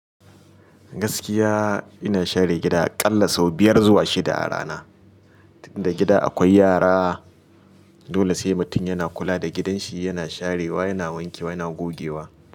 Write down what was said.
Gaskiya ina share gida ƙalla sau biyar zuwa shida a rana. Tun da gida akwai yara dole sai mutum yana kula da gidanshi, yana sharewa, yana wanke wa, yana gogewa.